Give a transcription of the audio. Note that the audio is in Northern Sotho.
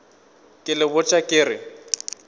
ke le botša ke re